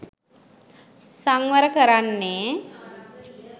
සංවර කරන්නේ